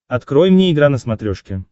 открой мне игра на смотрешке